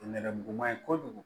Nɛrɛmuguman ye kojugu